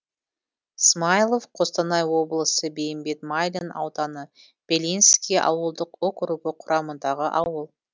смаилов қостанай облысы бейімбет майлин ауданы белинский ауылдық округі құрамындағы ауыл